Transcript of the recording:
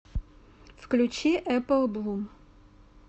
включи эппл блум